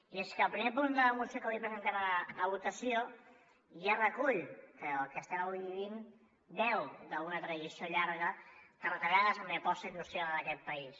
i és que el primer punt de la moció que avui presentem a votació ja recull que el que estem avui vivint beu d’una tradició llarga de retallades en l’aposta industrial en aquest país